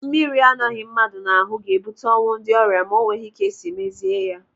Mmiri anọghị mmadụ n'ahụ ga-ebute ọnwụ ndị ọrịa ma o nweghị ka esi mezie ya.